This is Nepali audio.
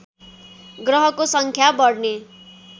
ग्रहको सङ्ख्या बढ्ने